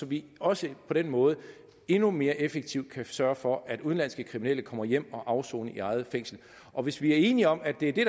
vi også på den måde endnu mere effektivt kan sørge for at udenlandske kriminelle kommer hjem og afsoner i eget fængsel og hvis vi er enige om at det er det